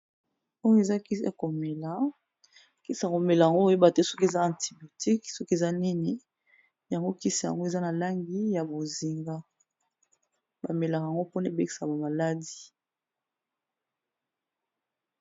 Oyo eza kisi ya komela, kisi ya komela yango oyeba te soki eza antibiotique ,soki eza nini yango kisi yango eza na langi ya bozinga, bamelaka yango mpona ebekisa ba maladie.